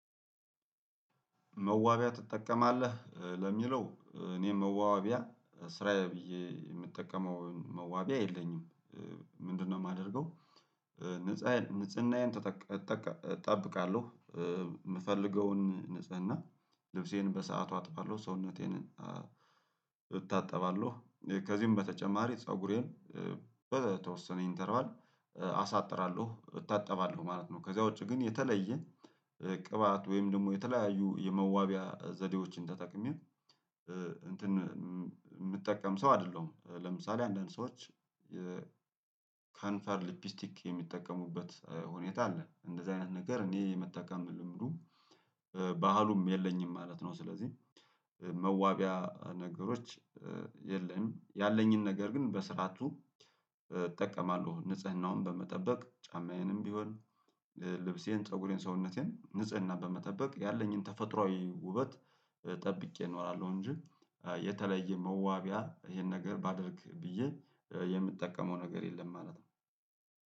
መዋቢያ ትጠቀማለህ ለሚለው እኔም መዋቢያ ስራዬ ብዬ የምጠቀመው መዋቢያ የለኝም። ምንድነው የማደርገው? ንፃዬን ንጽህናዬን ተጠቅ እጠቀ እጠብቃለሁ። የምፈልገውን ንጽህና ልብሴን በሰአቱ አጥባለሁ ሰውነቴን። እታጠባለሁ ከዚህም በተጨማሪ ፀጉሬን በተወሰነ ኢንተርቫል አሳጥራለሁ እታጠባለሁ ማለት ነው። ከዛ ውጪ ግን የተለየ ቅባት ወይም ደግሞ የተለያዩ የመዋቢያ ዘዴዎችን ተጠቅሜ እንትን የምጠቀም ሰው አይደለሁም። ለምሳሌ አንዳንድ ሰዎች ከንፈር ሊፕስቲክ የሚጠቀሙበት ሁኔታ አለ እንደዚህ አይነት ነገር እኔ የመጠቀም ልምዱ ባህሉም የለኝም ማለት ነው። ስለዚህ መዋቢያ ነገሮች የለም ያለኝን ነገር ግን በስርዓቱ እጠቀማለሁ። ንጽህናውን በመጠበቅ ጫማዬንም ቢሆን ልብሴን ፀጉሬን ሰውነቴን ንጽህና በመጠበቅ ያለኝን ተፈጥሮአዊ ውበት ጠብቄ እኖራለሁ። እንጂ የተለየ መዋቢያ ይሄን ነገር ባደርግ ብዬ የምጠቀመው ነገር የለም ማለት ነው።